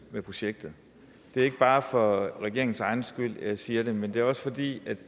med projektet det er ikke bare for regeringens egen skyld at jeg siger det men det er også fordi